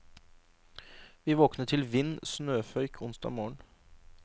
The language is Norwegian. Vi våkner til vind og snøføyk onsdag morgen.